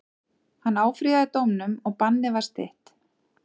Hann áfrýjaði dómnum og bannið var stytt.